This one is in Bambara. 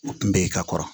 N bɛ i ka kɔrɔ